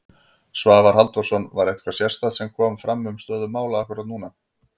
Svavar Halldórsson: Var eitthvað sérstakt sem kom fram um stöðu mála akkúrat núna?